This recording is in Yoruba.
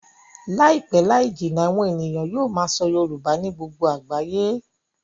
Láìpẹ́ láì jìnnà, àwọn ènìyàn yóò máa sọ Yorùbá ní gbogbo àgbáyé